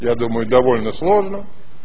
я думаю довольно сложно